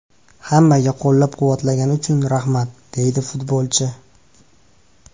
Hammaga qo‘llab-quvvatlagani uchun rahmat”, deydi futbolchi.